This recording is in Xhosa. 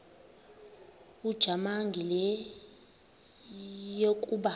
ujamangi le yakoba